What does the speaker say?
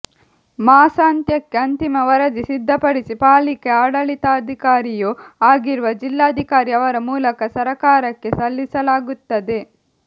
ಮಾಸಾಂತ್ಯಕ್ಕೆ ಅಂತಿಮ ವರದಿ ಸಿದ್ಧಪಡಿಸಿ ಪಾಲಿಕೆ ಆಡಳಿತಾಧಿಕಾರಿಯೂ ಆಗಿರುವ ಜಿಲ್ಲಾಧಿಕಾರಿ ಅವರ ಮೂಲಕ ಸರಕಾರಕ್ಕೆ ಸಲ್ಲಿಸಲಾಗುತ್ತದೆ